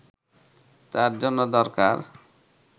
তার জন্য দরকার